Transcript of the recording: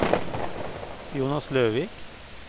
Jonas Løvik